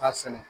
K'a sɛnɛ